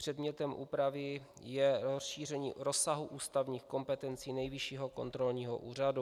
Předmětem úpravy je rozšíření rozsahu ústavních kompetencí Nejvyššího kontrolního úřadu.